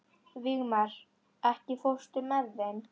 Vígmar, ekki fórstu með þeim?